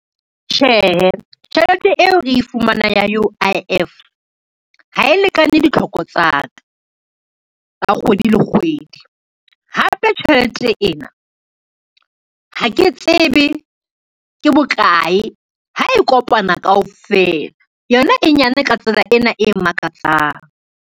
Tjhehe, tjhelete eo re e fumanang ya U_I_F, ha e lekane ditlhoko tsa ka tsa kgwedi le kgwedi, hape tjhelete ena ha ke tsebe ke bokae ha e kopana kaofela, yona e nyane ka tsela ena e makatsang.